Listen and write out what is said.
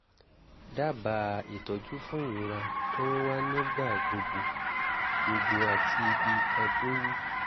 dábàá ìtọ́jú fún ìrora tó ń wá nígbà gbogbo gbogbo àti ibi itan tó wú